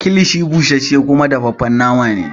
Kilishi busashe kuma gasashen nama ne.